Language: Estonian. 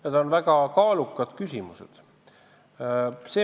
Need on väga kaalukad küsimused.